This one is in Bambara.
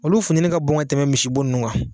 Olu futɛni ka bon ka tɛmɛ misibo ninun kan